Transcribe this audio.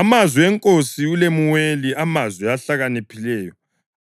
Amazwi enkosi uLemuweli, amazwi enhlakanipho